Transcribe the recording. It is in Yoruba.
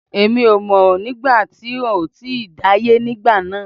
Èmi ò mọ̀ nígbà tí n ò tíì dáyé nígbà náà